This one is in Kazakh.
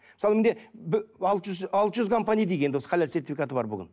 мысалы менде алты жүз алты жүз компания дейік енді осы халал сертификаты бар бүгін